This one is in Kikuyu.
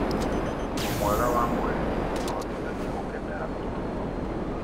Ũgima mwega wa mwĩrĩ nĩ ũtũhotithagia gũkenera ũtũũro